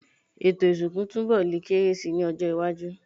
Ètò ìsìnkú túnbọ̀ lè kéré si ní ọjọ́-iwájú.